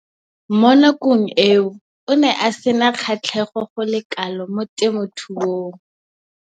Mo nakong eo o ne a sena kgatlhego go le kalo mo temothuong.